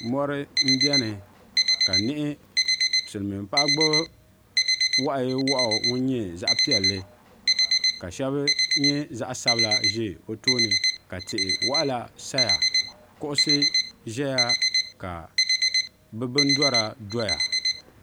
Mori n biɛni ka silmiin paɣa mii gbubi wahu yee wahu ŋun nyɛ zaɣ'piɛlli ka shaba nyɛ zaɣ'sabila ʒɛ o tooni ka ti waɣila saya kuɣusi ʒɛya ka bibindora dɔya